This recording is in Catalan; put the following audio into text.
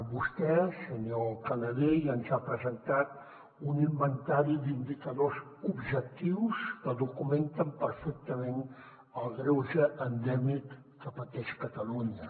vostè senyor canadell ens ha presentat un inventari d’indicadors objectius que documenten perfectament el greuge endèmic que pateix catalunya